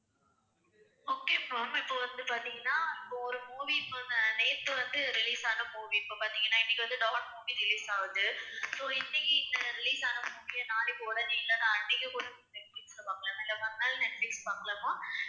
okay ma'am இப்ப வந்து பார்த்தீங்கன்னா இப்ப ஒரு movie வந்து நேத்து வந்து release ஆன movie. இப்ப பார்த்தீங்கன்னா இன்னைக்கு வந்து டான் movie release ஆகுது so இன்னைக்கு அஹ் release ஆன movie ஏ நாளைக்கு உடனே இல்லைனா அன்னைக்கே கூட நெட்பிலிஸ்ல பார்க்கலாமா இல்ல மறுநாள் நெட்பிலிஸ் பார்க்கலாமா